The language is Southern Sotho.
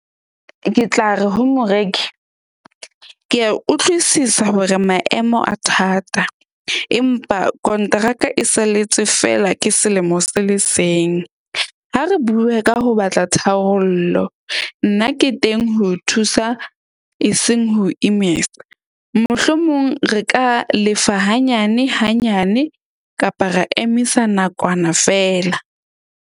Ke tla re ho moreki ke a utlwisisa hore maemo a thata, empa konteraka e salletse feela ke selemo se le seng. Ha re bue ka ho batla tharollo. Nna ke teng ho thusa e seng ho imetsa. Mohlomong re ka lefa hanyane hanyane kapa ra emisa nakwana feela.